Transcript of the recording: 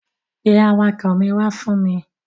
Pe awakọ̀ mi wá fún mi.